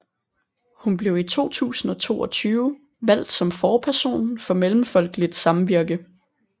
Hun blev i 2022 valgt som forperson for Mellemfolkeligt Samvirke